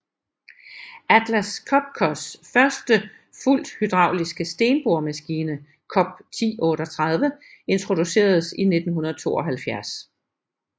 Atlas Copcos første fuldt hydrauliske stenboremaskine COP1038 introduceredes i 1972